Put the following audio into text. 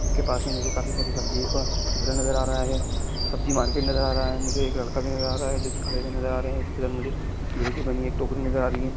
उसके पास मुझे काफ़ी सारी सब्जी का झूला नज़र आ रहा है सब्जी मार्केट नजर आ रहे है मुझे एक लड़का भी नज़र आ रहा है जो कि खड़े नज़र आ रहा है इसके साथ मुझे एक टोकरी भी नजर आ रही है।